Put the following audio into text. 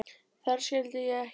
Þar skildi ég ekkert.